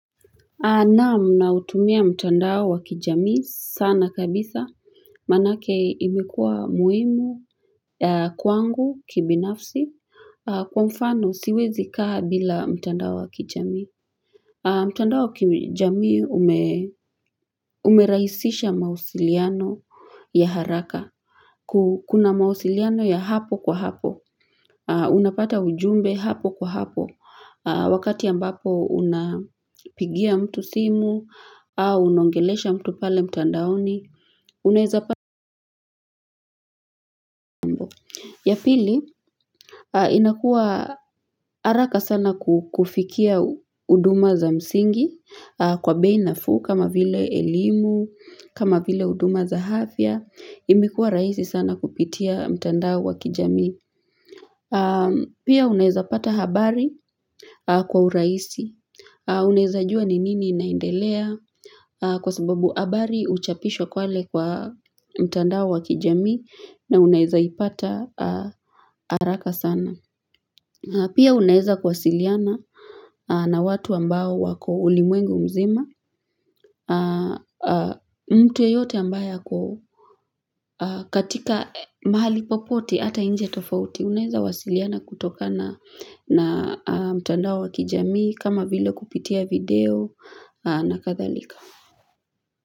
Naam nautumia mtandao wa kijamii sana kabisa manake imekuwa muhimu kwangu kibinafsi kwa mfano siwezi kaaa bila mtandao wa kijami. Mtandao kijamii umerahisisha mawasiliano ya haraka Kuna mawasiliano ya hapo kwa hapo Unapata ujumbe hapo kwa hapo Wakati ambapo unapigia mtu simu au unaongelesha mtu pale mtandaoni. Ya pili inakua haraka sana kufikia huduma za msingi kwa bei nafuu kama vile elimu, kama vile huduma za afya, imikuwa rahisi sana kupitia mtandao wa kijamii. Pia unaeza pata habari kwa urahisi. Unaeza jua ni nini naindelea kwa sababu habari uchapisho pale kwa mtandao wa kijamii na unaeza ipata haraka sana. Pia unaeza kuwasiliana na watu ambao wako ulimwengu mzima, mtu yeyote ambayo katika mahali popote ata nje tofauti, unaeza kuwasiliana kutoka na mtandao wa kijamii kama vile kupitia video na kadhalika.